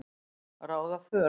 ráða för.